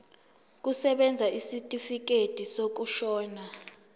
kusebenza isitifikedi sokushona